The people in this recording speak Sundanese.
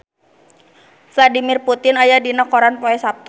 Vladimir Putin aya dina koran poe Saptu